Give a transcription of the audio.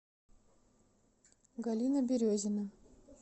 галина березина